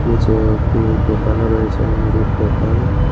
নীচে একতি দোকানও রয়েছে মুদির দোকান।